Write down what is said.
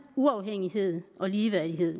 uafhængighed og ligeværdighed